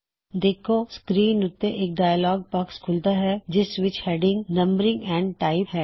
ਵੇਖੋ ਸਕ੍ਰੀਨ ਉੱਤੇ ਇੱਕ ਡਾਇਅਲੌਗ ਬਾਕਸ ਖੁੱਲ਼ਦਾ ਹੈ ਜਿਸ ਦੀ ਹੈਡਿੰਗ ਨੰਬਰਿੰਗ ਐੰਡ ਟਾਇਪ ਹੈ